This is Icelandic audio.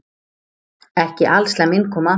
Ekki alslæm innkoma.